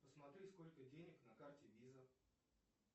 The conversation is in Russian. посмотри сколько денег на карте виза